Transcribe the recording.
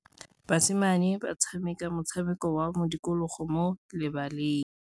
Basimane ba tshameka motshameko wa modikologô mo lebaleng.